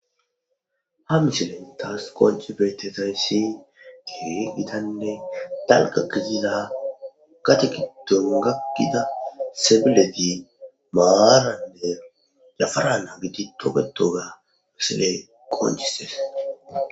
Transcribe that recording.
Ha misilen tas qonci betizays Keehi gitanne dalga gidida gade giddon akida sebilet maranne yafara nagid toketoga misiley qoncisesi.